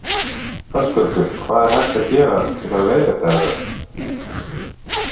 Höskuldur: Hvað er hægt að gera til að leiðrétta þetta?